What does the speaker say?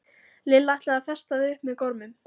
Lilla ætlaði að festa þau upp með gormum.